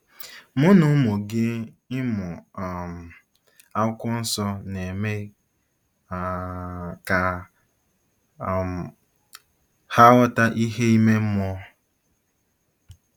Mụ na ụmụ gị ịmụ um Akwụkwọ Nsọ na-eme um ka um ha “ghọta ihe ime mmụọ”